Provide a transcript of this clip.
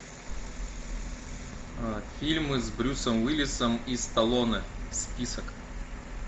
фильмы с брюсом уиллисом и сталлоне список